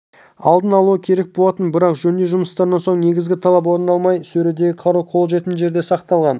алдын-алуы керек болатын бірақ жөндеу жұмыстарынан соң негізгі талап орындалмай сөредегі қару қолжетімді жерде сақталған